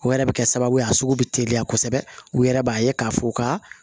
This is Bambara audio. O yɛrɛ bɛ kɛ sababu ye a sugu bɛ teliya kosɛbɛ u yɛrɛ b'a ye k'a fɔ u ka